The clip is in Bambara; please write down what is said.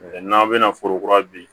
N'aw bɛna foro kura bin